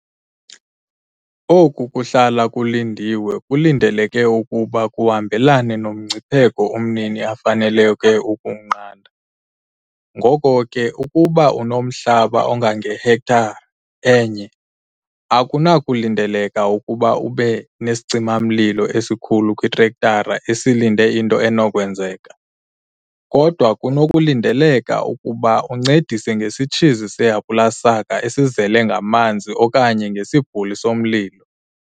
Oku kuhlala kulindiwe kulindeleke ukuba kuhambelane nomngcipheko umnini afaneleke ukuwunqanda, ngoko ke ukuba unomhlaba ongangehektare e-1, akunakulindeleka ukuba ube nesicima-mlilo esikhulu kwitrektara esilinde into enokwenzeka - kodwa kunokulindeleka ukuba uncedise ngesitshizi sehapulasaka esizele ngamanzi okanye ngesibhuli somlilo.